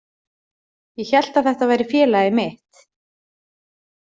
Ég hélt að þetta væri félagið mitt.